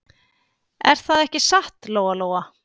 Er það ekki satt, Lóa-Lóa?